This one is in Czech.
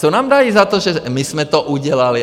Co nám dají za to, že my jsme to udělali?